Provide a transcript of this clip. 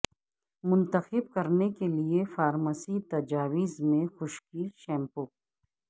منتخب کرنے کے لئے فارمیسی تجاویز میں خشکی شیمپو